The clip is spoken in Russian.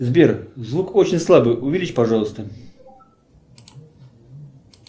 сбер звук очень слабый увеличь пожалуйста